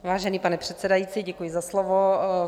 Vážený pane předsedající, děkuji za slovo.